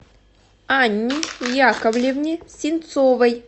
анне яковлевне синцовой